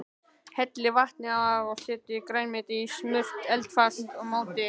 Hellið vatninu af og setjið grænmetið í smurt eldfast mót.